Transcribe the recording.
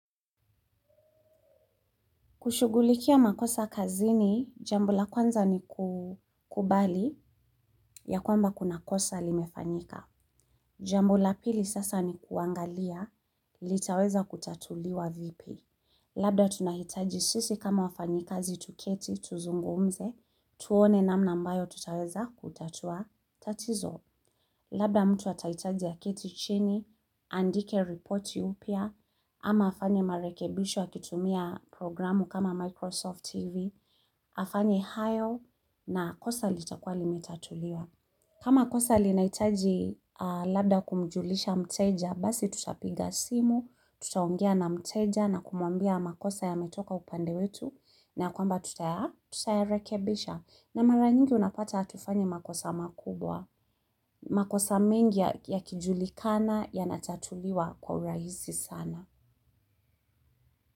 Kushugulikia makosa kazini, jambo la kwanza ni kukubali ya kwamba kuna kosa limefanyika. Jambo la pili sasa ni kuangalia litaweza kutatuliwa vipi. Labda tunahitaji sisi kama wafanyikazi tu keti tuzungumze, tuone namna ambayo tutaweza kutatua. Tatizo, labda mtu atahitaji aketi chini, aandike ripoti upya, ama afanye marekebisho akitumia programu kama Microsoft TV, afanye hayo na kosa litakua limetatuliwa. Kama kosa linahitaji labda kumjulisha mteja, basi tutapiga simu, tutaongea na mteja na kumwambia makosa yametoka upande wetu, na kwamba tutayarekebisha. Na mara nyingi unapata hatufanyi makosa makubwa. Makosa mengi yakijulikana yanatatuliwa kwa urahisi sana.